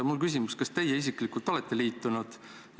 Mul on küsimus: kas teie isiklikult olete liitunud?